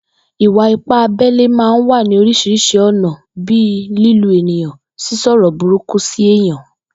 Ìwà-ipá abé̩lé máa ń wá ní orís̩irís̩i ò̩nà bíi lílu èèyàn, sísò̩rò̩ burúkú sí èèyàn